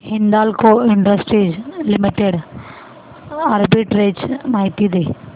Hindalco industries limited arbitrage माहिती दे